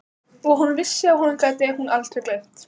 Og hún vissi að honum gæti hún aldrei gleymt.